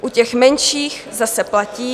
U těch menších zase platí -